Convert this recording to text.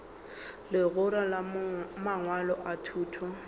legora la mangwalo a thuto